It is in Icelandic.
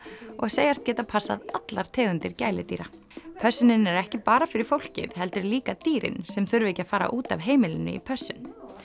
og segjast geta passað allar tegundir gæludýra pössunin er ekki bara fyrir fólkið heldur líka dýrin sem þurfa ekki að fara út af heimilinu í pössun